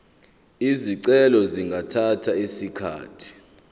izicelo zingathatha isikhathi